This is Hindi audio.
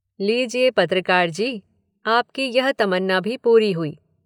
लीजिये, पत्रकार जी, आपकी यह तमन्ना भी पूरी हुई।